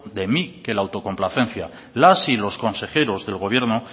de mí que la autocomplacencia las y los consejeros del gobierno